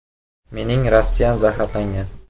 “Mening Rossiyam zaharlangan.